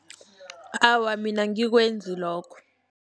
Awa, mina angikwenzi lokho.